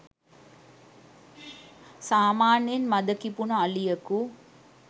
සාමාන්‍යයෙන් මද කිපුන අලියකු